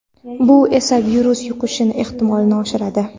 Bu esa virus yuqishi ehtimolini oshiradi.